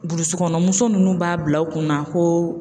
Burusi kɔnɔna muso ninnu b'a bila u kunna ko